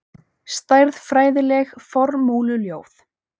Stærðfræðileg formúluljóð.